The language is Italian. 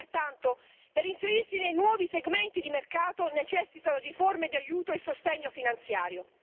Pertanto, per inserirsi nei nuovi segmenti di mercato, necessitano di forme di aiuto e sostegno finanziario.